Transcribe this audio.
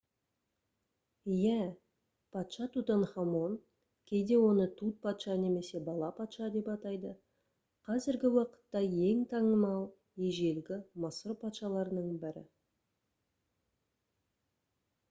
иә! патша тутанхамон кейде оны тут патша немесе бала-патша деп атайды қазіргі уақытта ең танымал ежелгі мысыр патшаларының бірі